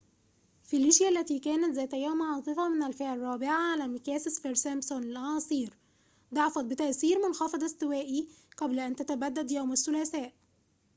فيليشيا التي كانت ذات يوم عاصفة من الفئة الرابعة على مقياس سفير-سمبسون للأعاصير ضعفت بتأثير منخفض استوائي قبل أن تتبدد يوم الثلاثاء